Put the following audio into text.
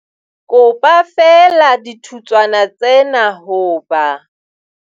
Kopa feela dithutswana tsena hoba.